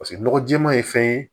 Paseke nɔgɔ jɛɛma ye fɛn ye